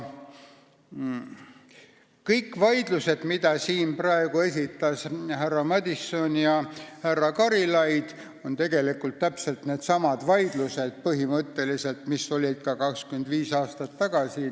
Kõik vaidlused, mida siin praegu tutvustasid härra Madison ja härra Karilaid, on tegelikult põhimõtteliselt täpselt needsamad, mis olid ka 25 aastat tagasi.